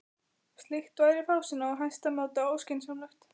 Slíkt væri fásinna og í hæsta máta óskynsamlegt.